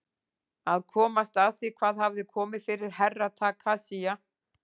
Að komast að því hvað hafði komið fyrir Herra Takashi.